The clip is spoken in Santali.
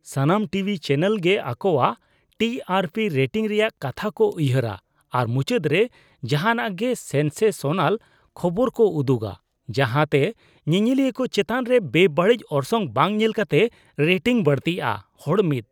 ᱥᱟᱱᱟᱢ ᱴᱤᱵᱷᱤ ᱪᱮᱱᱮᱞ ᱜᱮ ᱟᱠᱚᱣᱟᱜ ᱴᱤ ᱟᱨ ᱯᱤ ᱨᱮᱴᱤᱝ ᱨᱮᱭᱟᱜ ᱠᱟᱛᱷᱟ ᱠᱚ ᱩᱭᱦᱟᱹᱨᱟ ᱟᱨ ᱢᱩᱪᱟᱹᱫ ᱨᱮ ᱡᱟᱦᱟᱱᱟᱜ ᱜᱮ ᱥᱮᱱᱥᱮᱥᱚᱱᱟᱞ ᱠᱷᱚᱵᱚᱨ ᱠᱚ ᱩᱫᱩᱜᱟ ᱡᱟᱦᱟᱸᱛᱮ ᱧᱮᱧᱮᱞᱤᱭᱟᱹ ᱠᱚ ᱪᱮᱛᱟᱱ ᱨᱮ ᱵᱮᱼᱵᱟᱹᱲᱤᱡ ᱚᱨᱥᱚᱝ ᱵᱟᱝ ᱧᱮᱞ ᱠᱟᱛᱮ ᱨᱮᱴᱤᱝ ᱵᱟᱹᱲᱛᱤᱼᱟ ᱾ (ᱦᱚᱲ 1)